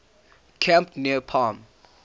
camp near palm